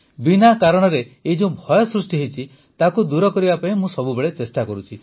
ବିନା କାରଣରେ ଏହି ଯେଉଁ ଭୟ ସୃଷ୍ଟି ହୋଇଛି ତାକୁ ଦୂର କରିବା ପାଇଁ ମୁଁ ସବୁବେଳେ ଚେଷ୍ଟା କରୁଛି